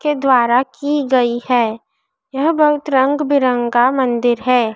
के द्वारा की गयी है यह बहुत रंग बिरंगा मंदिर है।